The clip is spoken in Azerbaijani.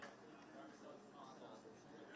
Əsas odur ki, Azərbaycanlı, Azərbaycanlı.